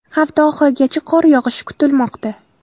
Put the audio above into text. Hafta oxirigacha qor yog‘ishi kutilmoqda .